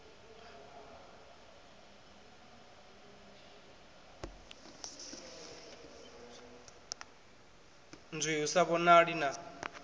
nzwii hu sa vhonali na